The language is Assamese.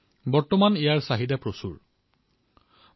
আজিকালি ইয়াৰ চাহিদাও বৃদ্ধি পাবলৈ ধৰিছে